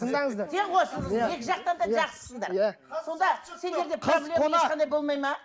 тыңдаңыздар екі жақтан да жақсысыңдар иә сонда